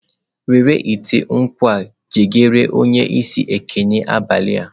Were ite nkwu a gakwuru onye isi ekene abalị a.